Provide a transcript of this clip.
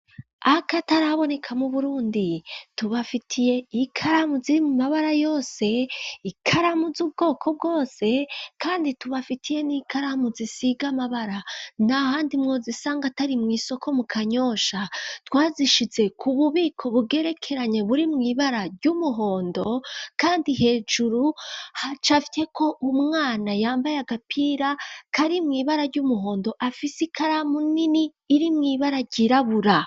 Ake ataraboneka mu burundi tubafitiye ikaramuzi mu mabara yose ikaramuzi ubwoko bwose, kandi tubafitiye n'ikaramu zisiga amabara nia handi mwozisanga atari mw'isoko mu kanyosha twazishize ku bubiko bugerekeranye buri mw'ibara ry'umuhondo, kandi hejuru hacavye ko umwana yambaye agapira koari mw'ibara ry'umuhondo afise ikaramu nini iri mw'ibara ryirabura.